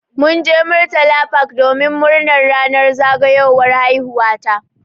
Mun je murtala park domin murnar ranar zagayowar haihuwa ta.